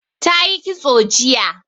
Ta yi kitso jiya